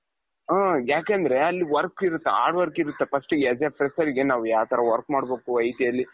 ಹಾ ಯಾಕೆoದ್ರೆ ಅಲ್ಲಿ work ಇರುತ್ತೆ hard work ಇರುತ್ತೆ first as a fresherಗೆ ನಾವು ಯಾವ್ ತರ work ಮಾಡ್ಬೇಕು ITಯಲ್ಲಿ .